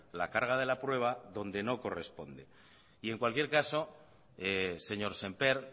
la carga de la prueba donde no corresponde y en cualquier caso señor semper